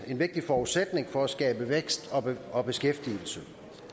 vigtig forudsætning for at skabe vækst og beskæftigelse